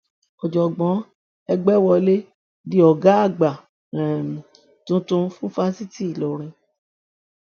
ọjọgbọn ẹgbẹwọlé di ọgá àgbà um tuntun fún fásitì ìlọrin